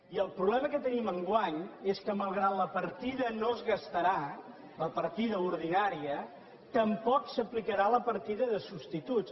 i el problema que tenim enguany és que malgrat que la partida no es gastarà la partida ordinària tampoc s’aplicarà la partida de substituts